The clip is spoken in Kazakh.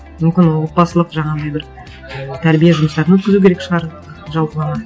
мүмкін отбасылық жаңағындай бір тәрбие жұмыстарын өткізу керек шығар жалпылама